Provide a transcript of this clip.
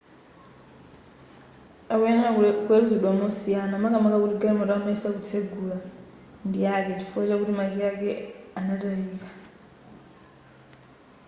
akuyenera kuweluzidwa mosiyana makamaka kuti galimoto amayesa kutsegura ndiyake chifukwa chakuti makiyi ake anatayika